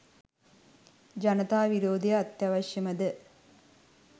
ජනතා විරෝධය අත්‍යාවශ්‍යමය